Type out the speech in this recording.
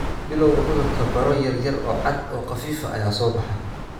Bilawga cudurka, baro yaryar oo cad oo khafiif ah ayaa soo baxa.